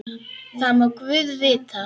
Það má guð vita.